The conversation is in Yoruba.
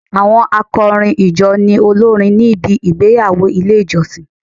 Àwọn akọrin ìjọ ni olórin níbi igbeyawo ilé ìjọsìn.